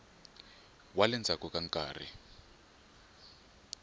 wa le ndzhaku ka nkarhi